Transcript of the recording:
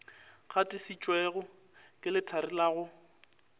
gatišitšwego ke lethari la go